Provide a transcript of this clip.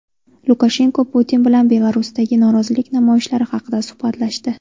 Lukashenko Putin bilan Belarusdagi norozilik namoyishlari haqida suhbatlashdi.